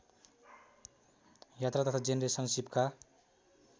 यात्रा तथा जेनरेसनसिपका